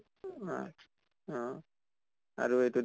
অহ আৰু এইটো